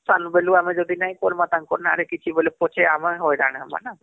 ସାନ ବେଲୁ ଆମେ ଯଦି ନାଇଁ କରମା ତାଙ୍କର ନାଁ ରେ କିଛି ବୋଲେ ପଛେ ଆମେ ହଇରାଣ ହମା